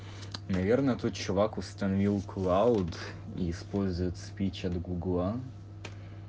наверное тут чувак установил клауд использует спич от гугла